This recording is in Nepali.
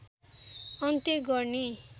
अन्त्य गर्ने